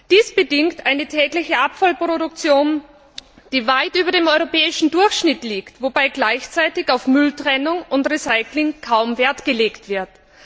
Dies bedingt eine tägliche Abfallproduktion, die weit über dem europäischen Durchschnitt liegt, wobei gleichzeitig auf Mülltrennung und Recycling kaum Wert gelegt wird.